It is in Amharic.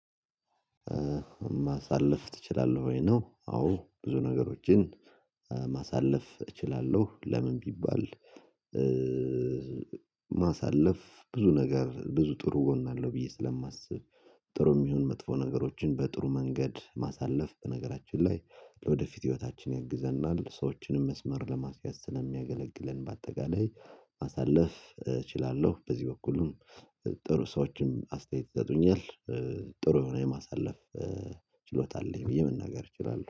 ማሳለፍ እችላለሁ ወይ ነው አዎ ብዙ ነገሮችን ማሳለፍ እችላለሁ። ለምን ቢባል? ማሳለፍ ብዙ ነገር ብዙ ጥሩ ጎን አለው ብዬ ስለማስብ። ጥሩ የሚሆን መጥፎ ነገሮችን በጥሩ መንገድ ማሳለፍ በነገራችን ላይ ለወደፊት ህይወታችን ያግዘናል ሰዎችንም መስመር ለማስያዝ ስለሚያገለግለን። በአጠቃላይ ማሳለፍ እችላለሁ። በዚህ በኩል ጥሩ ሰዎችንም አስተያየት ይሰጡኛል። ጥሩ የሆነ የማሳለፍ ችሎታ አለኝ ብዬ መናገር እችላለሁ